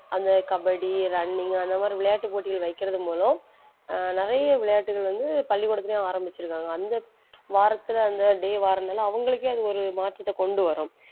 அந்த கபடி running அந்த மாறி விளையாட்டு போட்டிகள் வைக்கிறது மூலம் அஹ் நிறைய விளையாட்டுகள் வந்த பள்ளிக்கூடத்திலேயும் ஆரம்பிச்சிருக்காங்க. அந்த வாரத்தில அந்த day வாரனால அவங்களுக்கே அது ஒரு மாற்றத்தை கொண்டு வரும்.